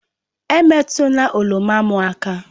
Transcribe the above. Emetụla oroma m aka!